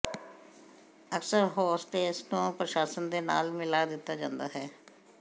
ਅਕਸਰ ਹੋਸਟੇਸ ਨੂੰ ਪ੍ਰਸ਼ਾਸਨ ਦੇ ਨਾਲ ਮਿਲਾ ਦਿੱਤਾ ਜਾਂਦਾ ਹੈ